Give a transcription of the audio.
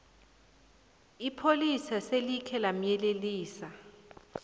ipholisa selikhe lamyelelisa